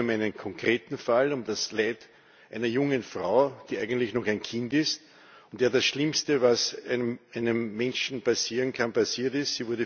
Es geht um einen konkreten Fall, um das Leid einer jungen Frau, die eigentlich noch ein Kind ist und der das Schlimmste, was einem Menschen passieren kann, passiert ist.